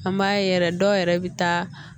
An b'a ye yɛrɛ dɔw yɛrɛ bɛ taa